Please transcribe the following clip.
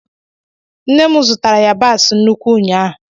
Nne mụ zụtara yabasi nnukwu ụnyaahụ